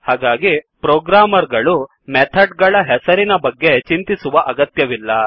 ಹಾಗಾಗಿ ಪ್ರೋಗ್ರಾಮ್ಮರ್ ಗಳು ಮೆಥಡ್ ಗಳ ಹೆಸರಿನ ಬಗ್ಗೆ ಚಿಂತಿಸುವ ಅಗತ್ಯವಿಲ್ಲ